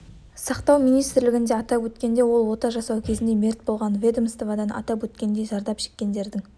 сақтау министрлігінде атап өткендей ол ота жасау кезінде мерт болған ведомствода атап өткендей зардап шеккендердің